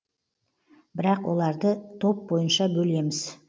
бірақ оларды топ бойынша бөлеміз